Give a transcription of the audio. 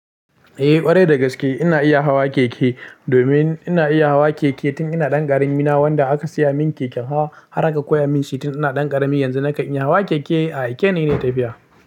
Eh ƙwarai dagaske ina iya hawa keke, domin ina iya hawa keke tun ina ɗan ƙarami. Na wanda aka saya min keken hawa har aka koya min shi tun ina ɗan ƙarami. Yanzu na kan iya hawa keke a aike ni na yi tafuya.